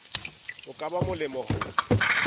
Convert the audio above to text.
ho ka ba molemo ho